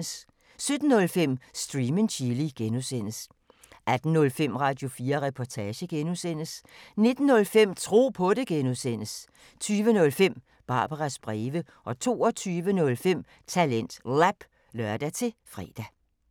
17:05: Stream & Chill (G) 18:05: Radio4 Reportage (G) 19:05: Tro på det (G) 20:05: Barbaras breve 22:05: TalentLab (lør-fre)